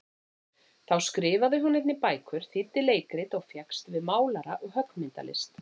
Þá skrifaði hún einnig bækur, þýddi leikrit, og fékkst við málara- og höggmyndalist.